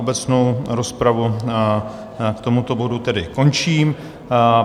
Obecnou rozpravu k tomuto bodu tedy končím.